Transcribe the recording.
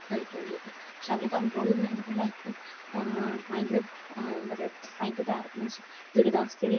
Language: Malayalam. കഴിക്കാൻ ആയിട്ട്. പക്ഷേ അവര് കണ്ട്രോൾ ഇല്ലാതെ അവരുടെ ലൈഫ് ഭയങ്കര, ഭയങ്കര ദുരിതാവസ്ഥയിൽ